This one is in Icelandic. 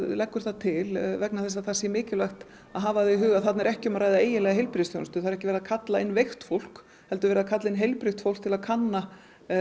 leggur það til vegna þess að það sé mikilvægt að hafa í huga að þarna er ekki um að ræða eiginlega heilbrigðisþjónustu það er ekki verið að kalla inn veikt fólk heldur verið að kalla inn heilbrigt fólk til að kanna